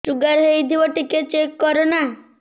sugar ହେଇଥିବ ଟିକେ check କର ନା